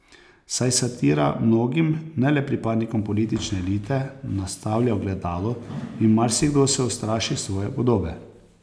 Saj satira mnogim, ne le pripadnikom politične elite, nastavlja ogledalo in marsikdo se ustraši svoje podobe.